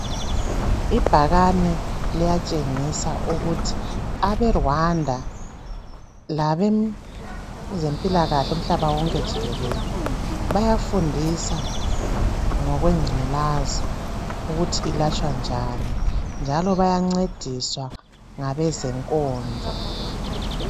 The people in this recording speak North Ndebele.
Ibhakane liyatshengisa ukuthi abe Rwanda labezempilakahle umhlaba wonke jikelele bayafundisa ngokwengculazi ukuthi olatshwa njani njalo bayancediswa ngabezenkonzo.